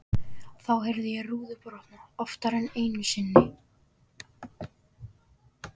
Þá heyrði ég rúður brotna, oftar en einu sinni.